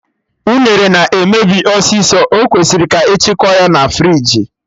Unere na-emebi ọsịsọ, ọ kwesịrị ka echekwa ya na friji